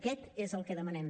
aquest és el que demanem